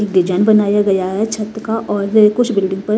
एक डिजाइन बनाया गया है छत का और कुछ बिल्डिंग का--